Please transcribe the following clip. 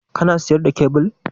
Kana siyar da kyabil?